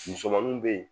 Musomaninw bɛ yen